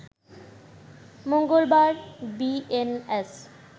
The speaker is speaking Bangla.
মঙ্গলবার বিএনএস